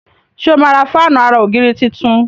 ṣe o má rà Fáànù àrà ògiri títún?